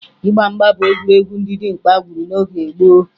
Ịgba mgba bụ egwuregwu ndị dimkpa gwuru n'oge gboo